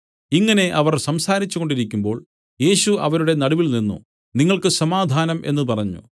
ഇങ്ങനെ അവർ സംസാരിച്ചു കൊണ്ടിരിക്കുമ്പോൾ യേശു അവരുടെ നടുവിൽനിന്നു നിങ്ങൾക്ക് സമാധാനം എന്നു പറഞ്ഞു